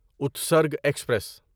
Utsarg express